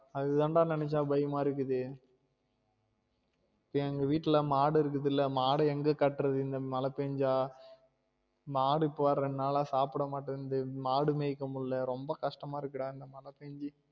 ஆது தான் டா நெனச்சா பயமா இருக்குது எங்க வீட்டுல மாடு இருக்குதுல மாடு எங்க கட்டுறது இந்த மழை பேஞ்சா மாடு இப்ப வேற ரெண்டு நாலா சாப்ட மாட்டங்குது மாடு மேய்க்க முடியல ரொம்ப கஷ்டமா இருக்கு டா இந்த மழை பெஞ்சி